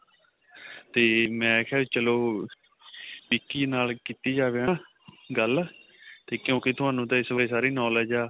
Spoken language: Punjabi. ਤੇ ਮੈਂ ਕਿਹਾ ਚਲੋ ਵਿੱਕੀ ਨਾਲ ਕੀਤੀ ਜਾਵੇਂ ਹਨਾ ਗੱਲ ਤੇ ਤੁਹਾਨੂੰ ਤਾਂ ਕਿਉਂਕਿ ਇਸ ਬਾਰੇ ਸਾਰੀ knowledge ਏ